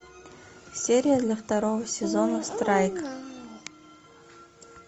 серия для второго сезона страйк